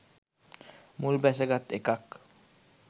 මුල් බැස ගත් එකක්.